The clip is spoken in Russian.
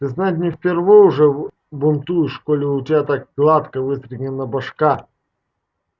ты знать не впервой уже бунтуешь коли у тебя так гладко выстрогана башка